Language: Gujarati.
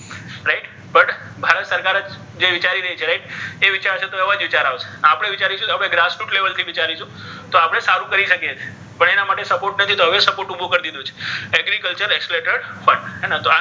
ભારત સરકાર જે વિચારી રહી છે. right? એ વિચાર છે એવા જ વિચાર આવશે આપણે વિચારીશું. તો વિચારીશું તો આપણે સારું કરી શકીએ છીએ. પણ એના માટે support નથી તો હવે support ઉભો કરી દીધો છે.